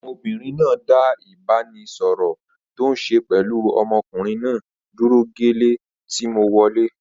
Ọmọbìnrin náà dá ìbáraẹnisọọ̀rọ̀ tòun ṣe pẹlu ọmọkùnrin náà dúró gẹ́lẹ́ tí mo wọlẹ́.